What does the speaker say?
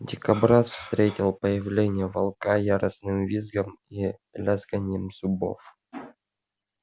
дикобраз встретил появление волка яростным визгом и лязганьем зубов